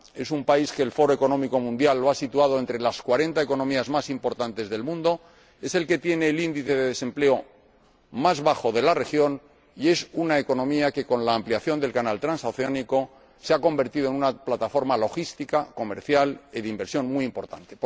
Es un país al que el Foro Económico Mundial acaba de situar entre las cuarenta economías más importantes del mundo, es el país que tiene el índice de desempleo más bajo de la región y es una economía que, con la ampliación del canal transoceánico, se ha convertido en una plataforma logística, comercial y de inversión muy importante.